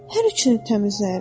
Hər üçünü təmizləyirəm.